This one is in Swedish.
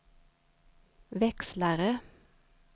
växlare